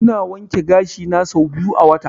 Ina wanke gashi na sau biyu a wata.